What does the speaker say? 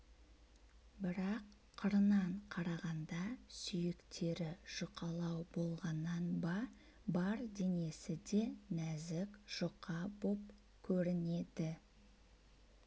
бірақ қырынан қарағанда сүйектері жұқалау болғаннан ба бар денесі де нәзік жұқа боп көрінеді